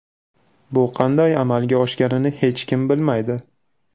Bu qanday amalga oshganini hech kim bilmaydi.